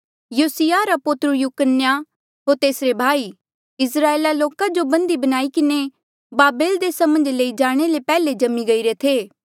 योसिय्याहा रा पोत्रू यकुन्याहा होर तेसरे भाई इस्राएला लोका जो बन्दी बनाई किन्हें बाबेल देसा मन्झ लेई जाणे रे पैहले जम्मी गईरे थे